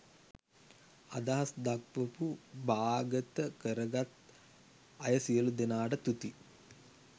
අදහස් දක්වපු බාගත කරගත් අය සියළු දෙනාට තුති